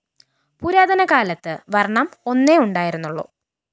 പുരാതനകാലത്ത് വര്‍ണ്ണം ഒന്നേ ഉണ്ടായിരുന്നുള്ളു